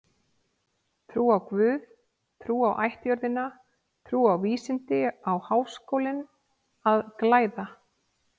Trú á guð, trú á ættjörðina, trú á vísindin á Háskólinn að glæða.